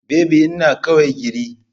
Baby ina kawai giri.